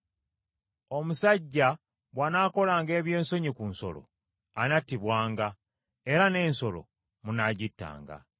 “ ‘Omusajja bw’anaakolanga eby’ensonyi ku nsolo, anattibwanga, era n’ensolo munaagittanga.